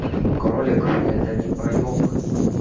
кролик это не проеб